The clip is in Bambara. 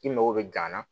I mago bɛ gan na